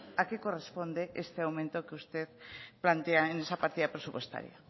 a qué corresponde ese aumento que usted plantea en esa partida presupuestaria